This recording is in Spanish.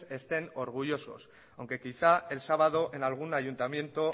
estén orgullosos aunque quizá el sábado en algún ayuntamiento